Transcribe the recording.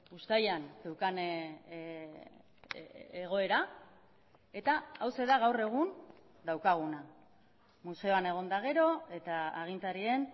uztailan zeukan egoera eta hauxe da gaur egun daukaguna museoan egon eta gero eta agintarien